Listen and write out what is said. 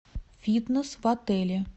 фитнес в отеле